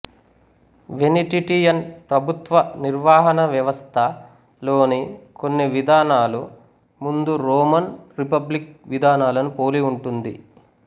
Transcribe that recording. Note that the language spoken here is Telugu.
వెనిటిటియన్ ప్రభుత్వ నిర్వహణా వ్వవస్థ లోని కొన్ని విధానాలు ముందు రోమన్ రిపబ్లిక్ విధానాలను పోలి ఉంటుంది